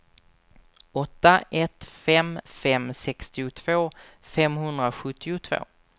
åtta ett fem fem sextiotvå femhundrasjuttiotvå